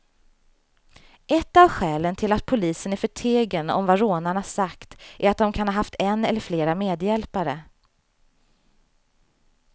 Ett av skälen till att polisen är förtegen om vad rånarna sagt är att de kan ha haft en eller flera medhjälpare.